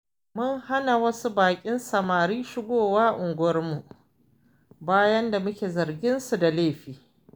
Mun hana wasu baƙin samari shigowa unguwarmu, bayan da muke zarginsu da laifi.